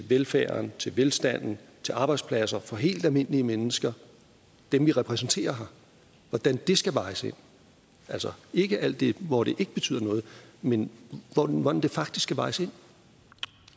velfærden til velstanden til arbejdspladser for helt almindelige mennesker dem vi repræsenterer her skal vejes ind altså ikke alt det hvor det ikke betyder noget men hvordan hvordan